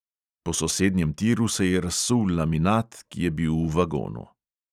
Po sosednjem tiru se je razsul laminat, ki je bil v vagonu.